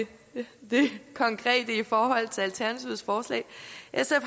det konkrete i forhold til alternativets forslag